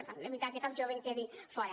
per tant evitar que cap jove en quedi fora